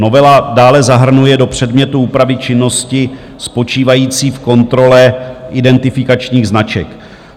Novela dále zahrnuje do předmětu úpravy činnosti spočívající v kontrole identifikačních značek.